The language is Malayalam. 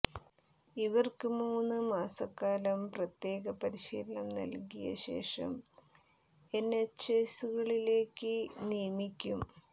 ഇവര്ക്ക് മൂന്നു മാസക്കാലം പ്രത്യേക പരിശീലനം നല്കിയ ശേഷം എന്എച്ച്എസുകളിലേക്ക് നിയമിക്കും